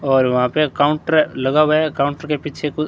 और वहां पे काउंटर लगा हुआ है अकाउंट के पीछे कु--